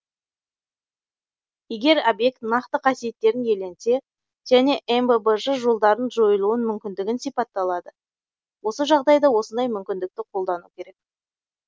егер объект нақты қасиеттерін иеленсе және мббж жолдарын жойылуын мүмкіндігін сипатталады осы жағдайда осындай мүмкіндікті қолдану керек